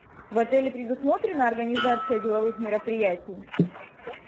в отеле предусмотрена организация деловых мероприятий